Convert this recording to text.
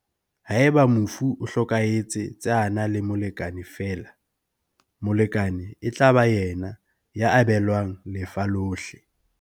Haeba mofu o hlokahe tse a na le molekane feela, molekane e tla ba yena ya abelwang lefa lohle.